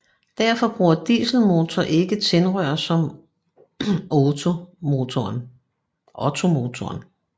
Derfor bruger dieselmotorer ikke tændrør som ottomotoren